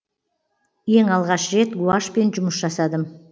ең алғаш рет гуашьпен жұмыс жасадым